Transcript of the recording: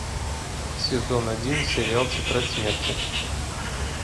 сезон один сериал тетрадь смерти